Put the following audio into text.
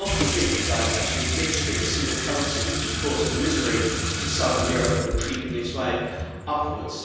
God forbid you guys actually ditch the single currency which is causing misery to southern Europe and creeping its way upwards.